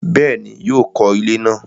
Bẹ́ẹ̀ni, yóò kọ ilẹ́ náà